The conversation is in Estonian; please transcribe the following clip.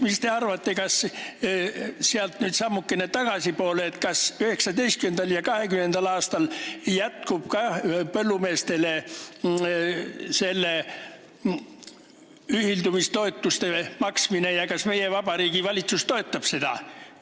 Mis te arvate, kas 2021. aastast nüüd sammukese tagasi minnes, 2019. ja 2020. aastal jätkub ka põllumeestele ühildumistoetuste maksmine ja kas meie vabariigi valitsus toetab seda?